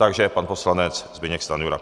Takže pan poslanec Zbyněk Stanjura.